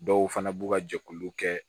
Dɔw fana b'u ka jɛkulu kɛ